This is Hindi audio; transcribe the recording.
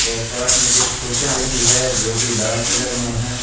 और पास में कुछ खुर्शीया रखी है जो की लाल कलर में है।